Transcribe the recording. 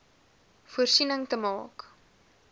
voorsiening te maak